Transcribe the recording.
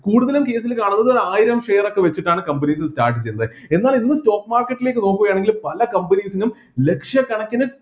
കുടുതലും case ൽ കാണുന്നത് ആയിരം share ഒക്കെ വെച്ചിട്ടാണ് companies start ചെയ്യുന്നത് എന്നാൽ ഇന്ന് stock market ലേക്ക് നോക്കുകയാണെങ്കിൽ പല companies നും ലക്ഷകണക്കിന്